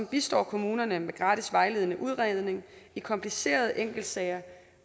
bistår kommunerne med gratis vejledende udredning i komplicerede enkeltsager